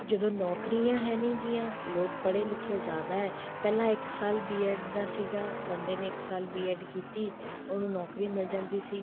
ਜਦੋਂ ਨੋਕਰੀਆਂ ਹੈ ਨੀ ਗਈਆਂ ਲੋਕ ਪੜ੍ਹੇ ਲਿਖੇ ਜਿਆਦਾ ਪਹਿਲਾਂ ਇੱਕ ਸਾਲ B.ED ਦਾ ਸੀਗਾ ਬੰਦੇ ਨੇ ਇੱਕ ਸਾਲ B.ED ਕੀਤੀ ਉਹਨੂੰ ਨੋਕਰੀ ਮਿਲ ਜਾਂਦੀ ਸੀ